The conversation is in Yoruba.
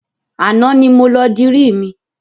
Àná ni mo lọ dirí mi.